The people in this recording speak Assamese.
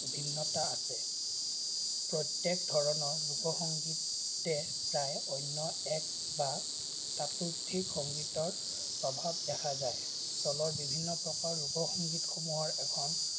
ভিন্নতা আছে। প্ৰত্যক ধৰণৰ লোকসংগীতে প্ৰায় অন্য এক বা তাতোধিক সংগীতৰ প্ৰভাৱ দেখা যায়। তলৰ বিভিন্ন প্ৰকাৰৰ লোক সংগীতসমূহৰ এখন